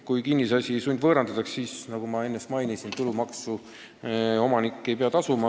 Kui kinnisasi sundvõõrandatakse, siis tulumaksu omanik ei pea tasuma.